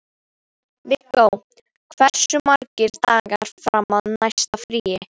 Viggó, hversu margir dagar fram að næsta fríi?